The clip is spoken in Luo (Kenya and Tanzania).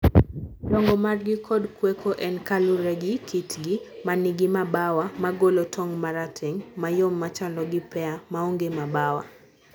donjo margi kod kweko en kalure gi kitgi manigi mabawa magolo tong marateng, mayom machalo gi pear, maonge mabawa.